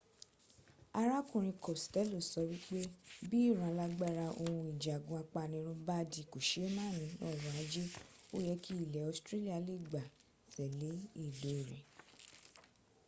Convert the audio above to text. arákùnrin costello sọ wípé bí ìran alágbára ohun ìjagun apanirun bá di kòseémàní ọrọ̀ ajé ó yẹ kí ilẹ̀ australia lè gbá tẹ̀le ìlò rẹ̀